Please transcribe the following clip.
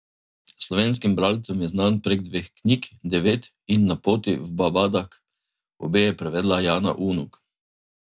Slovenskim bralcem je znan prek dveh knjig, Devet in Na poti v Babadag, obe je prevedla Jana Unuk.